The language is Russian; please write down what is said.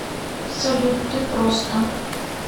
салют ты просто